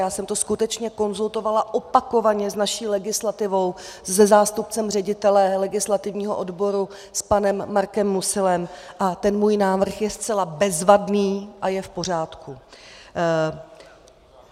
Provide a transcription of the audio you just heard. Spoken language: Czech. Já jsem to skutečně konzultovala opakovaně s naší legislativou, se zástupcem ředitele legislativního odboru, s panem Markem Musilem, a ten můj návrh je zcela bezvadný a je v pořádku.